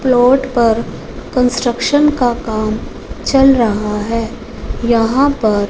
plot पर construction का काम चल रहा है यहां पर--